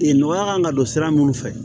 Ee nɔgɔya kan ka don sira minnu fɛ